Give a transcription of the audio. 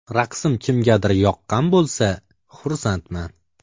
Raqsim kimgadir yoqqan bo‘lsa, xursandman!